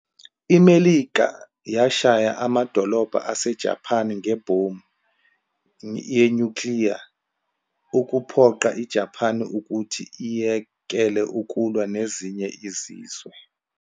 IMelika yashaya amadolobha aseJaphani ngebhomu yenyukliya ukuphoqa iJaphani ukuthi iyekele ukulwa nezinye izizwe.